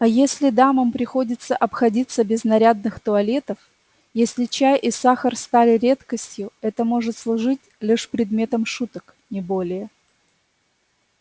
а если дамам приходится обходиться без нарядных туалетов если чай и сахар стали редкостью это может служить лишь предметом шуток не более